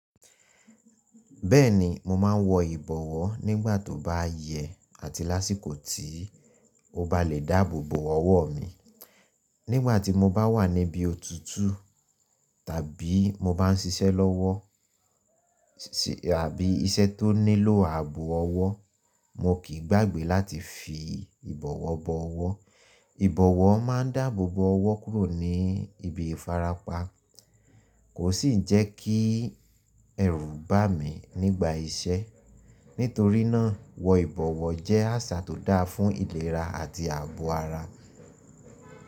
Bẹ́ẹ̀ni mo máa ń wọ ìbọwọ́ nígbà tó bá yẹ àti lásìkò tí o bá lè dáàbòbò ọwọ́ mi. Nígbà tí mo bá wà níbi òtutù tàbí mo bá ń ṣiṣẹ́ lọ́wọ́ àbí iṣẹ́ tó nílò ààbọ̀ ọwọ́, mo kì í gbàgbé láti fi ìbọwọ́ bo ọwọ́. Ìbọwọ́ máa ń dáàbòbò ọwọ́ kúrò ní ibi ìfarapa kò sì njẹ kí ẹrù bà mí nígbà iṣẹ́. Nítorí náà, wọ ìbọwọ́ jẹ́ àṣà tó dáa fún ìlera àti ààbọ̀ ara.